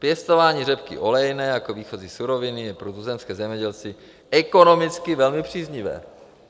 Pěstování řepky olejné jako výchozí suroviny je pro tuzemské zemědělce ekonomicky velmi příznivé.